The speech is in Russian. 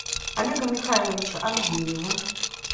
олега михайловича агеева